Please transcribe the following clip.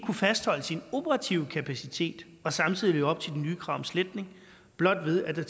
kunne fastholde sin operative kapacitet og samtidig leve op til de nye krav om sletning blot ved at der